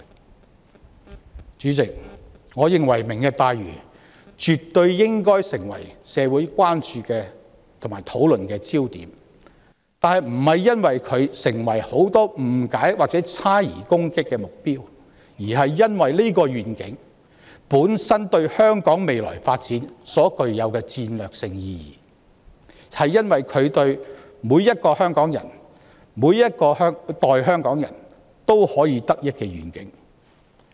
代理主席，我認為"明日大嶼願景"絕對應該成為社會關注和討論的焦點，但原因並非是很多市民對其有誤解和猜疑並作出批評和攻擊，而是因為這個願景本身對香港未來發展具有戰略性意義，而每一個香港人、每一代香港人都可以受惠。